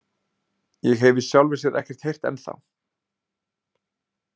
Ég hef í sjálfu sér ekkert heyrt ennþá.